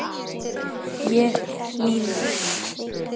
Ég er hlýleg.